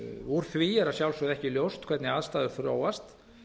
úr því er að sjálfsögðu ekki er ljóst hvernig aðstæður þróast